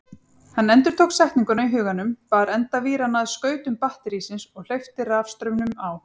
Hann endurtók setninguna í huganum, bar enda víranna að skautum batterísins og hleypti rafstraumnum á.